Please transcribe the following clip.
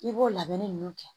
I b'o labɛnni ninnu kɛ